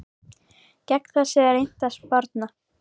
Gegn þessu er reynt að sporna.